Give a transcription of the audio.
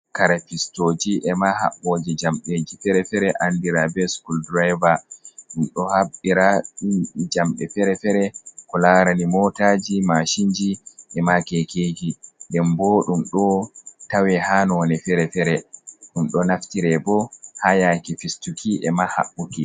Kare fistoji e ma haɓboji jamɗeji fere-fere andira be schol driver, ɗum ɗo habbira jamɗe fere fere ko larani motaji mashinji, e ma kekeji, den bo ɗum ɗo tawe ha none fere-fere ɗum do naftire bo ha yake fistuki e ma haɓɓuki.